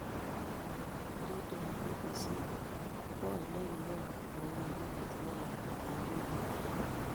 Waridi wa BBC: kwony ne kion boiyonyi kotinye lakwetab wikit agenge